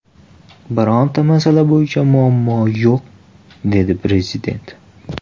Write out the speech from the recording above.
Birorta masala bo‘yicha muammo yo‘q”, dedi Prezident.